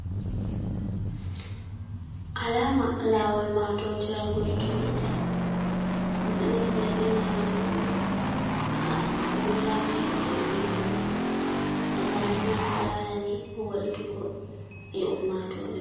Alama lawol matotiral gol tuwita, dum ɗo naftira be majum on bo ha sugullaji hande be jango, taka nasma ko larani wuldugo e ummatore.